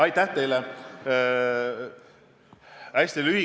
Aitäh teile!